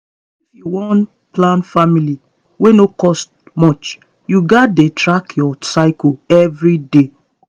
if you wan plan family wey no cost much you gats dey track your cycle every day